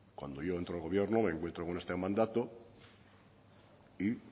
cuando yo entro al gobierno me encuentro con este mandato y